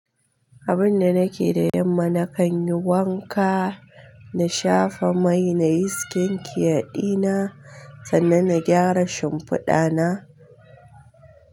Abin da nake da yamma, na kan yi wanka, na shafa mai na yin skin care dina, sannan na gyara shimfiɗa na.